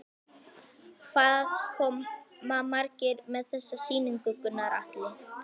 Hvað koma margir að þessari sýningu, Gunnar Atli?